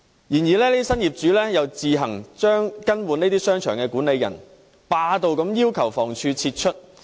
然而，這些新業主又自行更換商場管理人，霸道地要求房屋署撤出。